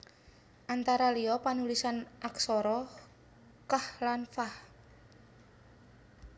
Antara liya panulisan aksara qaf lan fa